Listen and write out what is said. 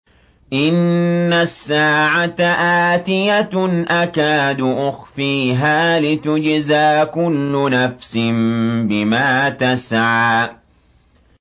إِنَّ السَّاعَةَ آتِيَةٌ أَكَادُ أُخْفِيهَا لِتُجْزَىٰ كُلُّ نَفْسٍ بِمَا تَسْعَىٰ